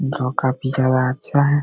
जो काफी ज्यादा अच्छा है।